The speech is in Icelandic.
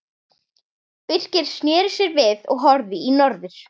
Birkir sneri sér við og horfði í norður.